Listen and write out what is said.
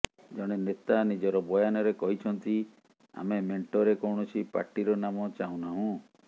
ଜଣେ ନେତା ନିଜର ବୟାନରେ କହିଛନ୍ତି ଆମେ ମେଣ୍ଟରେ କୌଣସି ପାର୍ଟିର ନାମ ଚାହୁଁ ନାହୁୁଁ